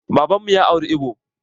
Baban mu ya auro ibo